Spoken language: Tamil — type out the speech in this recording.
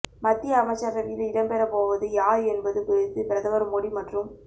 மத்திய அமைச்சரவையில் இடம்பெற போவது யார் என்பது குறித்து பிரதமர் மோடி மற்றும்